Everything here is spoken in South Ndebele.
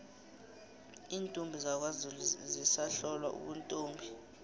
iintombi zakwazulu zisahlolwa ubuntombi